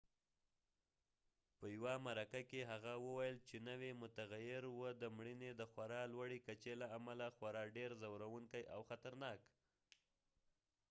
په یوه مرکه کې هغه وویل چې نوی متغییر و د مړینې د خورا لوړې کچې له امله خورا ډیر ځورونکی او خطرناک